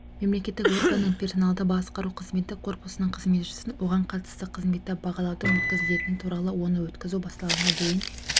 мемлекеттік органның персоналды басқару қызметі корпусының қызметшісін оған қатысты қызметті бағалаудың өткізілетіні туралы оны өткізу басталғанға дейін